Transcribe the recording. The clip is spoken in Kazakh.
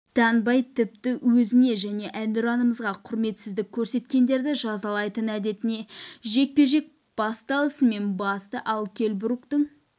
танбай тіпті өзіне және әнұранымызға құрметсіздік көрсеткендерді жазалайтын әдетіне жекпе-жек басталысымен басты ал келл бруктың